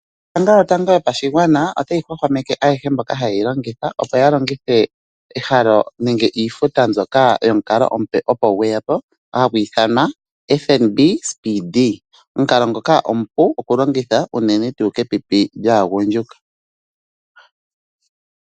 Ombanga yotango yopashigwana otayi hwahwameke ayehe mboka haye yi longitha opo ya longithe ehalo nenge iifuta mbyoka yomukalo omupe opo gweyapo hagu ithanwa FNB Speedee, omukalo ngoka omupu okulongitha unene tuu kepipi lyaagundjuka.